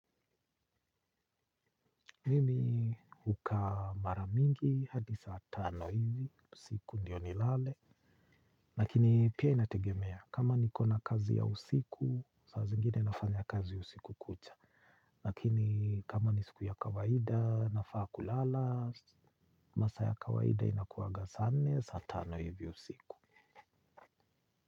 Mimi hukaa mara mingi hadi saa tano hivi, usiku ndio nilale lakini pia inategemea, kama nikona kazi ya usiku, saa zingine nafanya kazi usiku kucha lakini kama ni siku ya kawaida, nafaa kulala, masaa ya kawaida inakuwanga saa nne, saa tano hivi usiku.